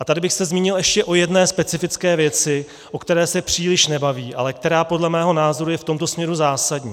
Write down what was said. A tady bych se zmínil ještě o jedné specifické věci, o které se příliš nebavíme, ale která podle mého názoru je v tomto směru zásadní.